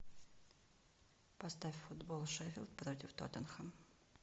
поставь футбол шеффилд против тоттенхэм